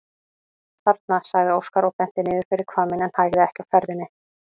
Þarna, sagði Óskar og benti niður fyrir hvamminn en hægði ekki á ferðinni.